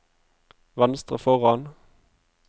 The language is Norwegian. venstre foran